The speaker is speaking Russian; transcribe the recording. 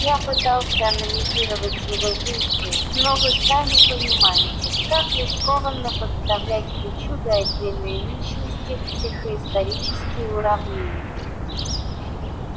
я пытался анализировать его действия но вы сами понимаете как рискованно подставлять причуды отдельной личности в психоисторические уравнения